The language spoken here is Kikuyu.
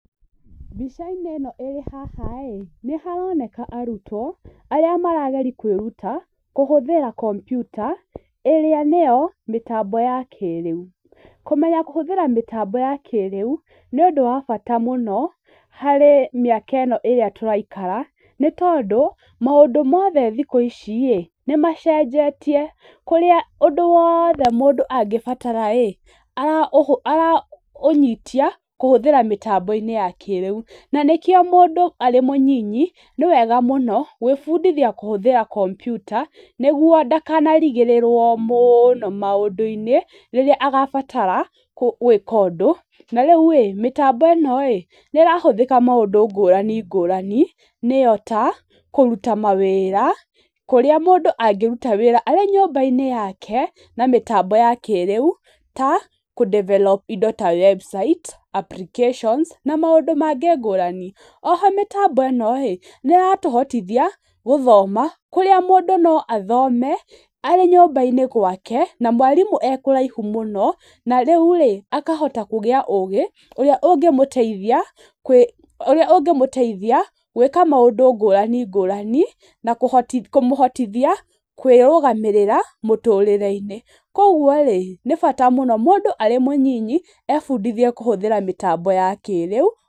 Mbica-inĩ ĩno ĩrĩ haha rĩ, nĩ haroneka arutwo arĩa marageria kwĩruta kũhũthĩra kompiuta, ĩrĩa nĩyo mĩtambo ya kĩrĩu, kũmenya kũhũthĩra mĩtambo ya kĩrĩu, nĩ ũndũ wa bata mũno harĩ mĩaka ĩno ĩrĩa tũraikara, nĩ tondũ maũndũ mothe thikũ ici rĩ, nĩ macenjetie, kũrĩa ũndũ wothe mũndũ angĩbatara rĩ, araũnyitia kũhũthĩra kũhũthĩra mĩtambo-inĩ ya kĩrĩu, na nĩkĩo arĩ mũnyinyi nĩ wega mũno gwĩbundithia kũhũthĩra kompiuta, nĩguo ndakanarigĩrĩrwo mũno maũndũinĩ rĩrĩa agabatara gwĩka ũndũ, na rĩu rĩ, mĩtambo ĩno rĩ, nĩ ĩrahũthĩka maũndũ ngũrani ngũrani, nĩyo ta kũruta mawĩra, kũrĩa mũndũ angĩruta wĩra arĩ nyũmbainĩ yake na mĩtambo ya kĩrĩu ta kũ develop indo ta website, applications na maũndũ mangĩ ngũrani, oho mĩtambo ĩno rĩ, nĩ ĩratũhotithia gũthoma, kũrĩa mũndũ no athome arĩ nyũmba-inĩ gwake, na mwarimũ ekũraihu mũno, na rĩu rĩ, akahota kũgĩa ũgĩ, ũrĩa ũngĩmũteithia ũrĩa ũngĩmũteithia gwĩka maũndũ ngũrani ngũrani na kũhotithia kũmũhotithia kwĩrũgamĩrĩra mũtũrĩre-inĩ, koguo rĩ, nĩ bata mũno mũndũ arĩ mũnyinyi, ebundithie kũhũthĩra mĩtambo ya kĩrĩu.